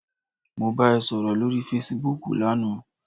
Mo bá ẹ sọ̀rọ̀ lórí fesibúùkù lana